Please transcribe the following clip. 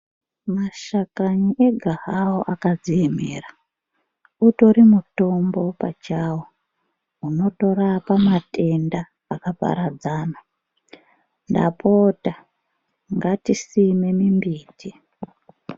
Mashakani ega hawo akadziemera utori mutombo pachawo unotorapa matenda akaparadzana. Ndapota ngatisime mimbiti.